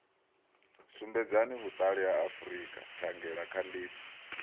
sumbedzaho vhuṱali ha frika thangelakhandiso